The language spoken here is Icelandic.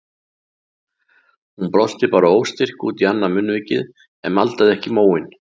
Hún brosti bara óstyrkt út í annað munnvikið en maldaði ekki í móinn.